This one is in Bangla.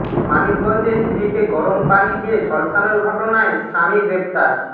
মানিকগঞ্জে স্ত্রীকে গরম পানি দিয়ে ঝলসানোর ঘটনায় স্বামী গ্রেপ্তার